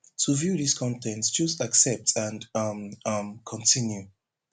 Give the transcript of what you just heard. to view dis con ten t choose accept and um um continue